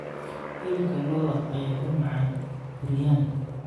Hilibka lo'da ayaa u macaan biryani.